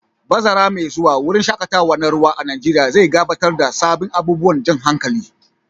Bazara mai zuwa, wurin shaƙatawa na ruwa a Najeriya zai gabatar da sabbin abubuwan jan hankali.